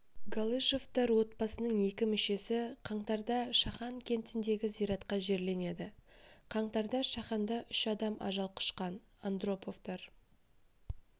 галышевтар отбасының екі мүшесі қаңтарда шахан кентіндегі зиратқа жерленеді қаңтарда шаханда үш адам ажал құшқан андроповтар